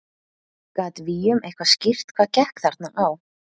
Gat Willum eitthvað skýrt hvað gekk þarna á?